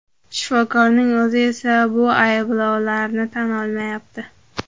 Shifokorning o‘zi esa bu ayblovlarni tan olmayapti.